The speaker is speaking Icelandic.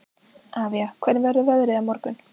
Avía, hvernig verður veðrið á morgun?